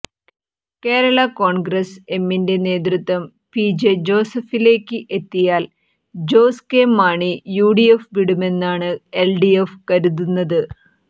കേരള കോൺഗ്രസ് എമ്മിന്റെ നേതൃത്വം പി ജെ ജോസഫിലേയ്ക്ക് എത്തിയാൽ ജോസ് കെ മാണി യുഡിഎഫ് വിടുമെന്നാണ് എൽഡിഎഫ് കരുതുന്നത്